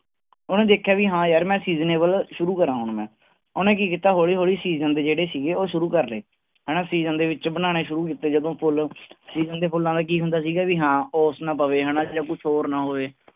ਉਹਨੇ ਦੇਖਿਆ ਵੀ ਹਾਂ ਯਾਰ ਮੈਂ seasonable ਸ਼ੁਰੂ ਕਰਾਂ ਹੁਣ ਮੈਂ, ਉਹਨੇ ਕੀ ਕੀਤਾ ਹੌਲੀ ਹੌਲੀ season ਦੇ ਜਿਹੜੇ ਸੀਗੇ ਉਹ ਸ਼ੁਰੂ ਕਰ ਲਏ ਹਨਾ season ਦੇ ਵਿੱਚ ਬਣਾਉਣੇ ਸ਼ੁਰੂ ਕੀਤੇ ਜਦੋਂ ਫੁੱਲ season ਦੇ ਫੁੱਲਾਂ ਦਾ ਕੀ ਹੁੰਦਾ ਸੀਗਾ ਵੀ ਹਾਂ ਓਸ ਨਾ ਪਵੇ ਹਨਾ ਜਾਂ ਕੁਛ ਹੋਰ ਨਾ ਹੋਵੇ।